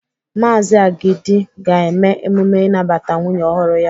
Maazi Agidi ga-eme emume inabata nwunye ọhụrụ ya.